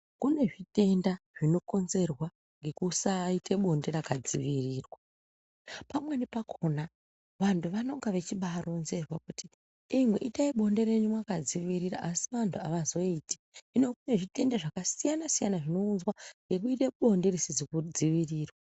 Kune zvitenda zvinokonzerwa ngekusaaite bonde rakadzivirirwa. Pamweni pakhona vantu vanonga vechibaaronzerwa kuti, imwi itai bonde renyu mwakadzivirira, asi vantu avazoiti. Hino kune zvitenda zvakasiyana-siyana zvinozounzwa ngekuite bonde risizi kudzivirirwa.